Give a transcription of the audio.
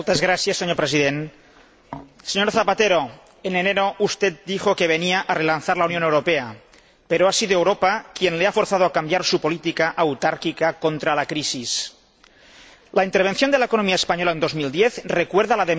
Señor Presidente, señor Rodríguez Zapatero, en enero, usted dijo que venía a relanzar la Unión Europea, pero ha sido Europa quien le ha forzado a cambiar su política autárquica contra la crisis. La intervención de la economía española en 2010 recuerda la de